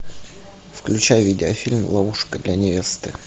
включай видеофильм ловушка для невесты